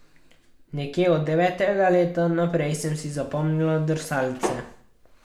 Nekje od devetega leta naprej sem si zapomnila drsalce.